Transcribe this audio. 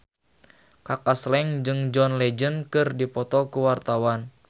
Kaka Slank jeung John Legend keur dipoto ku wartawan